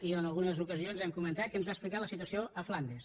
i en algunes ocasions hem comentat que ens va explicar la situació a flandes